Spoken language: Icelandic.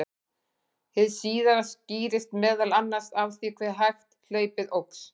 Hið síðara skýrist meðal annars af því hve hægt hlaupið óx.